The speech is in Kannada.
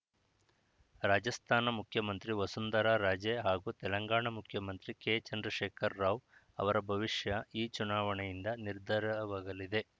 ರಾಜಸ್ಥಾನ ಮುಖ್ಯಮಂತ್ರಿ ವಸುಂಧರಾ ರಾಜೇ ಹಾಗೂ ತೆಲಂಗಾಣ ಮುಖ್ಯಮಂತ್ರಿ ಕೆ ಚಂದ್ರಶೇಖರ್‌ ರಾವ್‌ ಅವರ ಭವಿಷ್ಯ ಈ ಚುನಾವಣೆಯಿಂದ ನಿರ್ಧಾರವಾಗಲಿದೆ